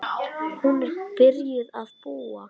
Hún er byrjuð að búa!